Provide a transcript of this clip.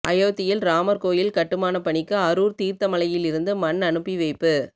அயோத்தியில் ராமா் கோயில் கட்டுமானப் பணிக்கு அரூா் தீா்த்தமலையிலிருந்து மண் அனுப்பிவைப்பு